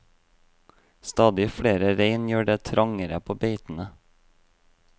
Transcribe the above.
Stadig flere rein gjør det trangere på beitene.